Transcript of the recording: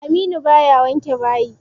Aminu baya wanke bayi.